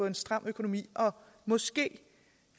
en stram økonomi og måske